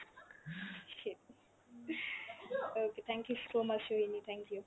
okay thank you so much Sohini, thank you।